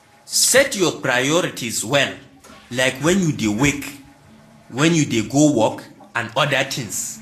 Set your priorities well, like when you dey wake, when you dey go work and oda things